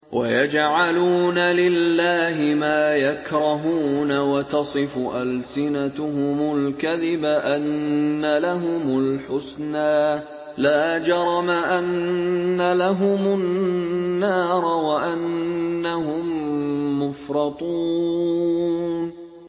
وَيَجْعَلُونَ لِلَّهِ مَا يَكْرَهُونَ وَتَصِفُ أَلْسِنَتُهُمُ الْكَذِبَ أَنَّ لَهُمُ الْحُسْنَىٰ ۖ لَا جَرَمَ أَنَّ لَهُمُ النَّارَ وَأَنَّهُم مُّفْرَطُونَ